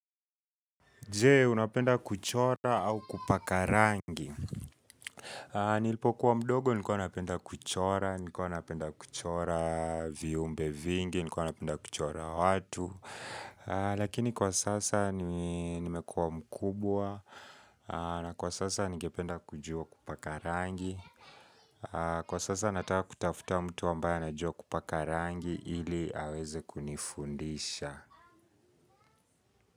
Je, unapenda kuchora au kupaka rangi? Nilipokuwa mdogo nilikuwa napenda kuchora, nilikuwa napenda kuchora viumbe vingi, nilikuwa napenda kuchora watu. Lakini kwa sasa nimekuwa mkubwa, na kwa sasa ningependa kujua kupaka rangi. Kwa sasa nataka kutafuta mtu ambaye anajua kupaka rangi ili aweze kunifundisha.